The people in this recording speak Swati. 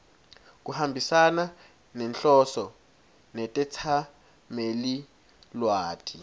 kuhambisana nenhloso netetsamelilwati